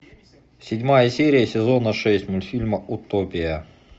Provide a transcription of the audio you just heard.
седьмая серия сезона шесть мультфильма утопия